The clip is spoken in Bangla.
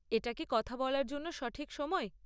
এটা কি কথা বলার জন্য সঠিক সময়?